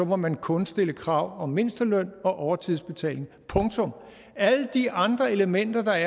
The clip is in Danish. må man kun stille krav om mindsteløn og overtidsbetaling punktum alle de andre elementer der er